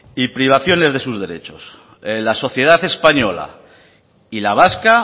y privaciones de sus derechos la sociedad española y la vasca